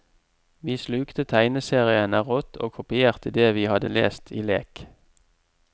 Vi slukte tegneseriene rått og kopierte det vi hadde lest i lek.